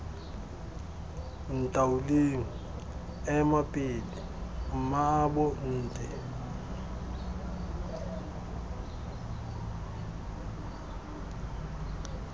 ntaoleng ema pele mmaabo nte